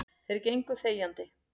Þeir gengu þegjandi.